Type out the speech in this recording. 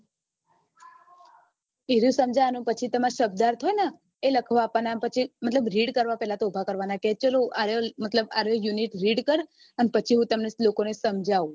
એર્યું સમજાવવાનું પછી તમાર શબ્દાર્થ હોય એ લખવા આપવાના પછી મતલબ read કરવા ઉભા કરવાના કે ચાલો આર્યો unit read કર પછી શ્લોકો ને સમજાવું